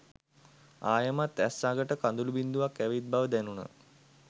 ආයෙමත් ඇස් අගට කඳුළු බිංදුවක් ඇවිත් බව දැනුණා.